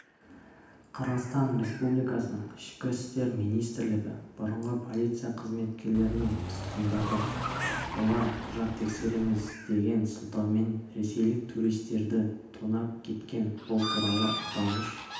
қырғызтан республикасының ішкі істер министрлігі бұрынғы полиция қызметкерлерін тұтқындады олар құжат тексереміз деген сылтаумен ресейлік туристерді тонап кеткен бұл туралы аталмыш